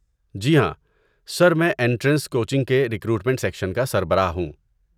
جی ہاں، سر، میں entrance coaching کے ریکروٹمنٹ سیکشن کا سربراہ ہوں۔